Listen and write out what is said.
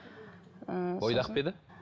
ыыы бойдақ па еді